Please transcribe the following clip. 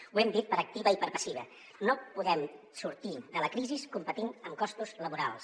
ho hem dit per activa i per passiva no podem sortir de la crisi competint en costos laborals